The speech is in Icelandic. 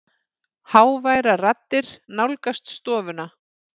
Háværar raddir nálgast stofuna.